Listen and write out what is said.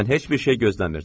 Mən heç bir şey gözləmirdim.